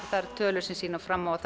það eru tölur sem sýna fram á að